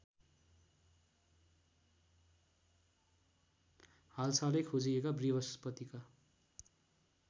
हालसालै खोजिएका बृहस्पतिका